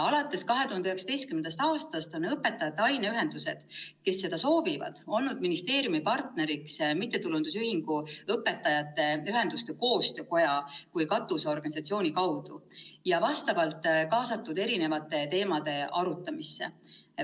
Alates 2019. aastast on õpetajate aineühendused, kes seda soovivad, olnud ministeeriumi partneriks MTÜ Õpetajate Ühenduste Koostöökoja kui katusorganisatsiooni kaudu ning nad on kaasatud erinevate teemade arutamisse.